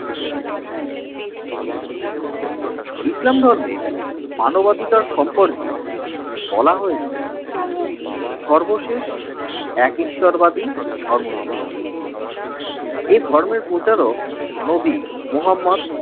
ইসলাম ধর্মে মানবাধিকার সম্পর্কে বলা হয়েছে সর্বশেষ এক ঈশ্বরবাদী ধর্ম ইসলাম এ ধর্মের প্রচারক নবী মহম্মদ